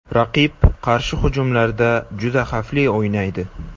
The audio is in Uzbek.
Raqib qarshi hujumlarda juda xavfli o‘ynaydi.